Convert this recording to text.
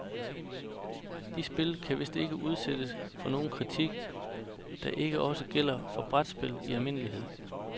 De spil kan vist ikke udsættes for nogen kritik, der ikke også gælder for brætspil i almindelighed.